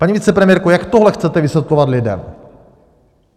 Paní vicepremiérko, jak tohle chcete vysvětlovat lidem?